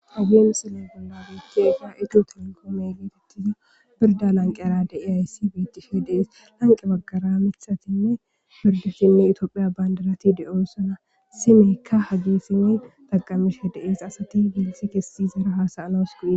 Abie mixillen bollabeechteefa eju telekoome giitettiza birda lanqe ara de i ayssi biitishe dees lanqe baggara mithatinne birdoshinne itoophiya bandarati de'oo sona simeykka hagissinne taqamishe deees asati giilsi gessi zera haasaanas guie.